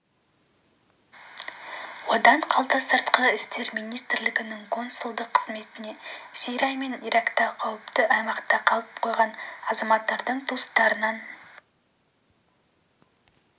одан қалды сыртқы істер министрлігінің консулдық қызметіне сирия мен иракта қауіпті аймақта қалып қойған азаматтардың туыстарынан